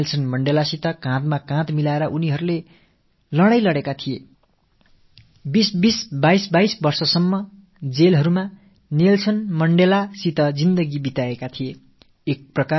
Nelson மண்டேலாவோடு தோளோடு தோள் சேர்ந்து போராடி 2025 ஆண்டுக்காலம் வரை சிறைச்சாலைகளில் அவரோடு கழித்தவர்கள் இவர்கள்